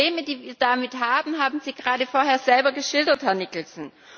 Die Probleme, die wir damit haben, haben Sie gerade vorher selber geschildert, Herr Nicholson.